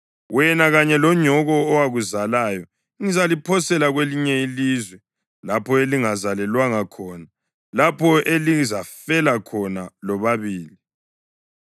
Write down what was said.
Wena kanye lonyoko owakuzalayo ngizaliphosela kwelinye ilizwe, lapho elingazalelwanga khona, lapho elizafela khona lobabili.